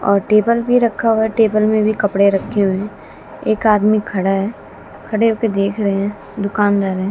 और टेबल भी रक्खा हुआ टेबल में भी कपड़े रक्खे हुए हैं एक आदमी खड़ा है खड़े होके देख रहे हैं दुकानदार हैं।